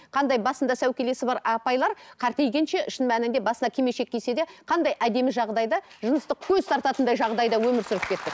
қандай басында сәукелесі бар апайлар шын мәнінде басына кимешек кисе де қандай әдемі жағдайда жыныстық көз тартатындай жағдайда өмір сүріп кетті